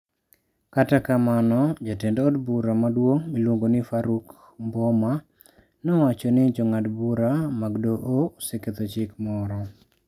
Kata kamano, jatend od bura maduong miluongo ni Faruk Mboma nowacho ni Jong'ad bura mag doho oseketho chik moro.